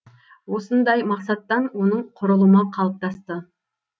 осындай мақсаттан оның құрылымы қалыптасты